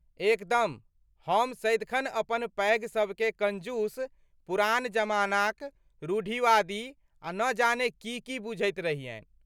एकदम! हम सदिखन अपन पैघ सबकेँ कंजूस, पुरान जमानाक, रूढ़िवादी आ न जाने की की बुझैत रहियनि।